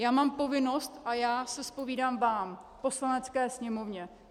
Já mám povinnost a já se zpovídám vám, Poslanecké sněmovně.